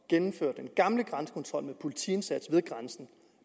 genindføre den gamle grænsekontrol med politiindsats ved grænsen